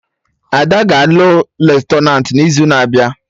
Ada ga-alụ Lutenat n'izu na-abịa